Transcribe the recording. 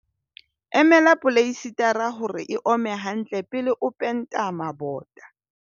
emela poleisetara hore e ome hantle pele o penta mabota